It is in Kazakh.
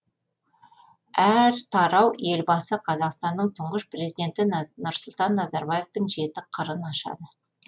әр тарау елбасы қазақстанның тұңғыш президенті нұрсұлтан назарбаевтың жеті қырын ашады